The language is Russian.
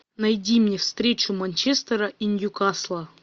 найди мне встречу манчестера и ньюкасла